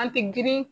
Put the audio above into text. An tɛ girin